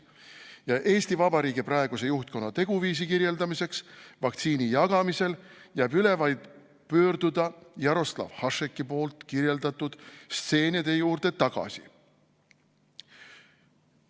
Ja EV praeguse juhtkonna teguviisi kirjeldamiseks vaktsiini jagamisel jääb üle vaid pöörduda Jaroslav Hašeki poolt kirjeldatud stseenide juurde tagasi.